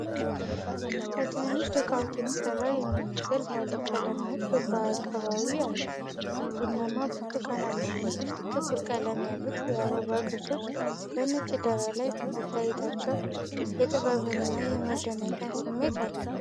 በትናንሽ ዶቃዎች የተሰራ የሚመስል ባለቀለም ንድፍ በአቀባዊ አለ። ቡናማ፣ ብርቱካናማና ጥቁር ቀለም ያሉት የአበባ ቅርጾች በነጭ ዳራ ላይ መታየታቸው የጥበብንና የመደነቅን ስሜት አለው።